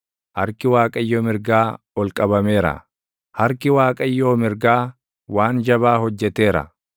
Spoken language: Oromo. Harki Waaqayyo mirgaa ol qabameera; harki Waaqayyoo mirgaa waan jabaa hojjeteera!”